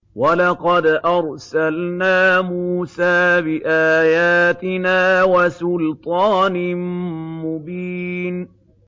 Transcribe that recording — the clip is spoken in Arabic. وَلَقَدْ أَرْسَلْنَا مُوسَىٰ بِآيَاتِنَا وَسُلْطَانٍ مُّبِينٍ